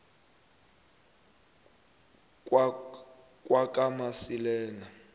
kwakamasilela